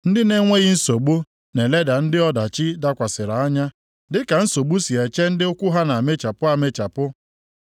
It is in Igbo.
Ndị na-enweghị nsogbu na-eleda ndị ọdachi dakwasịrị anya dịka nsogbu si eche ndị ụkwụ ha na-amịchapụ amịchapụ.